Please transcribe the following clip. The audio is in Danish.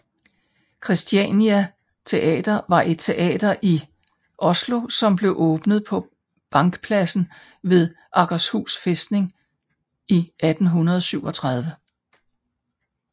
Christiania Theater var et teater i Oslo som blev åbnet på Bankplassen ved Akershus fæstning i 1837